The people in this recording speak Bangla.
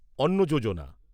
অন্ন যোজনা